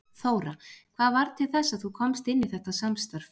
Þóra: Hvað varð til þess að þú komst inn í þetta samstarf?